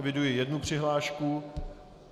Eviduji jednu přihlášku.